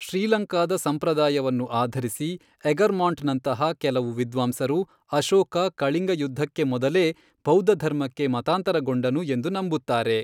ಶ್ರೀಲಂಕಾದ ಸಂಪ್ರದಾಯವನ್ನು ಆಧರಿಸಿ, ಎಗರ್ಮಾಂಟ್ನಂತಹ ಕೆಲವು ವಿದ್ವಾಂಸರು ಅಶೋಕ ಕಳಿಂಗ ಯುದ್ಧಕ್ಕೆ ಮೊದಲೇ ಬೌದ್ಧಧರ್ಮಕ್ಕೆ ಮತಾಂತರಗೊಂಡನು ಎಂದು ನಂಬುತ್ತಾರೆ.